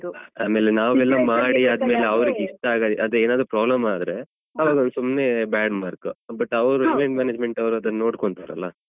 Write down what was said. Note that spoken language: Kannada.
ಆಮೇಲೆ ನಾವು ಎಲ್ಲ ಮಾಡಿ ಆದ್ಮೇಲೆ ಅವ್ರಿಗೆ ಇಷ್ಟ ಆಗದಿದ್ರೆ ಅದೇ ಏನಾದ್ರೂ problem ಆದ್ರೆ ಅವಗೊಂದು ಸುಮ್ನೆ bad mark, but ಅವ್ರು event management ಅವ್ರು ಅದನ್ನು ನೋಡ್ಕೊಳ್ತಾರೆ ಅಲ್ಲ.